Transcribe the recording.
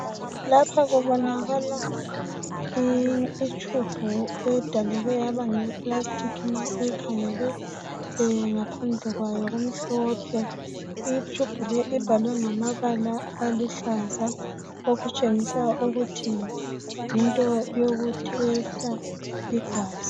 Lapha kubonakala itshubhu edaleke yaba ngeye pulasitiki ma uyikhangele ngaphandle kwayo kumhlophe itshubhu le ibhalwe ngamabala aluhlaza okutshengisa ukuthi yinto yokutheseta igazi.